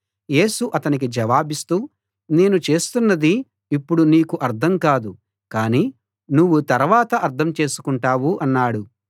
యేసు అతనికి జవాబిస్తూ నేను చేస్తున్నది ఇప్పుడు నీకు అర్థం కాదు కాని నువ్వు తరవాత అర్థం చేసుకుంటావు అన్నాడు